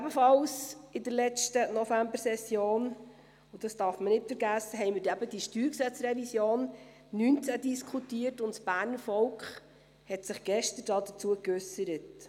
Ebenfalls in der letzten Novembersession – und das darf man nicht vergessen – diskutierten wir eben die StG-Revision 2019, und dazu hat sich das Berner Volk gestern geäussert.